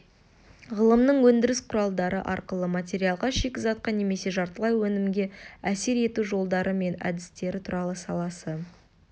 ғылымның өндіріс құралдары арқылы материалға шикізатқа немесе жартылай өнімге әсер ету жолдары мен әдістері туралы саласы